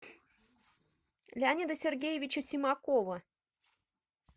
леонида сергеевича симакова